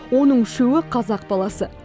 оның үшеуі қазақ баласы